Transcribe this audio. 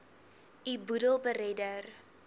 u boedel beredder